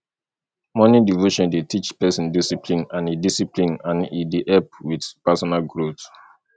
morning devotion dey teach person discipline and e discipline and e dey help with personal growth